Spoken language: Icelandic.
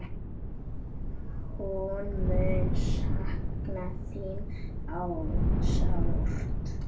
Hún mun sakna þín sárt.